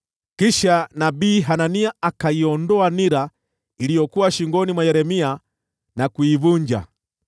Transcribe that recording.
Kisha nabii Hanania akaiondoa nira iliyokuwa shingoni mwa Yeremia na kuivunja,